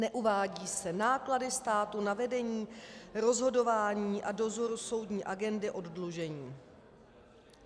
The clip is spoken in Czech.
Neuvádí se náklady státu na vedení, rozhodování a dozor soudní agendy oddlužení.